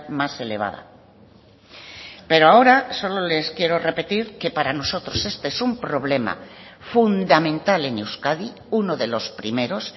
más elevada pero ahora solo les quiero repetir que para nosotros este es un problema fundamental en euskadi uno de los primeros